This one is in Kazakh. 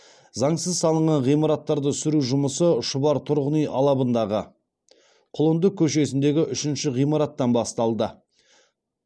заңсыз салынған ғимараттарды сүру жұмысы шұбар тұрғын үй алабындағы құлынды көшесіндегі үшінші ғимараттан басталды